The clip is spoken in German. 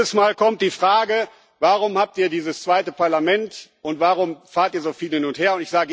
Jedes Mal kommt die Frage Warum habt ihr dieses zweite Parlament, und warum fahrt ihr so viel hin und her?